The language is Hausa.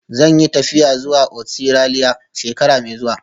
Zan yi tafiya zuwa Ostiraliya shekara mai zuwa